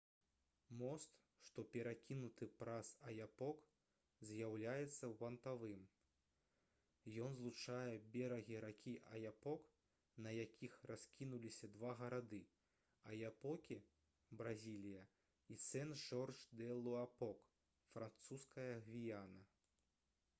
мост што перакінуты праз аяпок з'яўляецца вантавым. ён злучае берагі ракі аяпок на якіх раскінуліся два гарады — аяпокі бразілія і сен-жорж-дэ-луапок французская гвіяна